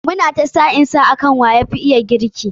Mu na ta sa'in sa akan wa yafi iya girki.